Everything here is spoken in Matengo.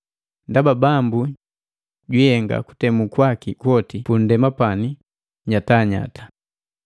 ndaba Bambu, jwiihenga kutemu kwaki kwoti pu nndema pani nyatanyata.”